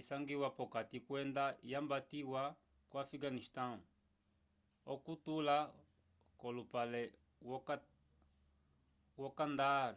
isangiwa p'okati kwenda yambatiwa ko afiganistão okutula k'olupale wo kandahar